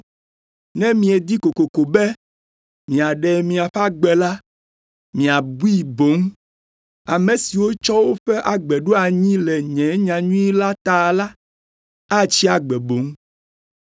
Ne miedi kokoko be miaɖe miaƒe agbe la, miabui boŋ. Ame siwo tsɔ woƒe agbe ɖo anyi le nye nyanyui la ta la, atsi agbe boŋ.